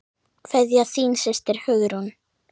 Kveðja, þín systir, Hugrún.